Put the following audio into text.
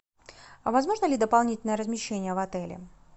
а возможно ли дополнительное размещение в отеле